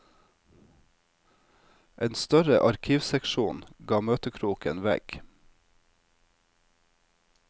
En større arkivseksjon gav møtekroken vegg.